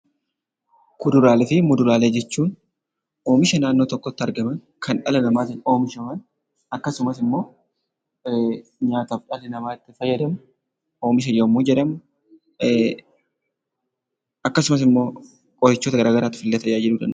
Kuduraalee fi muduraalee jechuun oomisha naannoo tokkotti argaman kan dhala namaatiin oomishaman akkasumas immoo nyaataaf dhalli namaa itti fayyadamu oomisha yommuu jedhamu, akkasumas immoo qorichoota garaagaraatiif illee tajaajiluu danda'u.